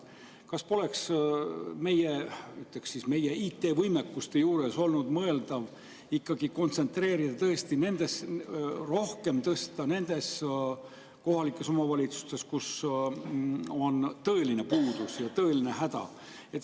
Kas poleks meie, ütleme siis, IT-võimekust arvestades olnud mõeldav seda ikkagi kontsentreerida sinna, rohkem tõsta nendes kohalikes omavalitsustes, kus on tõeline puudus ja tõeline häda?